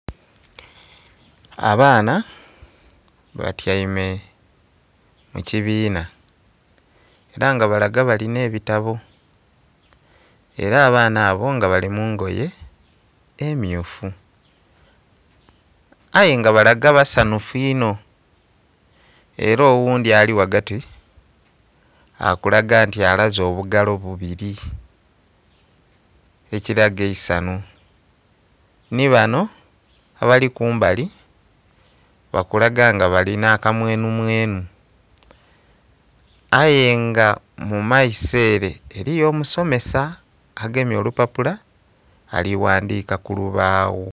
Abaana batyaime mu kibiina era nga balaga balina ebitabo era abaana abo nga bali mungoye emmyufu, aye nga balaga basanhufu inho era oghundhi ali ghagati akulaga nti alaze obugalo bubiri ekiraga eisanhu nhi bano abali kumbali bakulaga nga balina aka mwenhu mwenhu. Aye nga mu maiso ere eriyo omusomesa agemye olupapula ali ghandhika ku lubaawo.